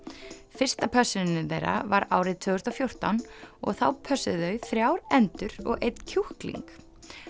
fyrsta pössunin þeirra var árið tvö þúsund og fjórtán og þá pössuðu þau þrjár endur og einn kjúkling